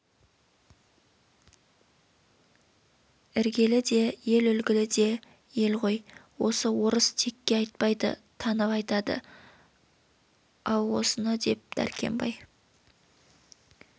іргелі де ел үлгілі де ел ғой осы орыс текке айтпайды танып айтады-ау осыны деп дәркембай